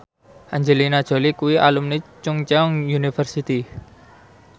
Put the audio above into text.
Angelina Jolie kuwi alumni Chungceong University